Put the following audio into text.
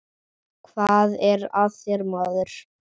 Hvað er að þér maður?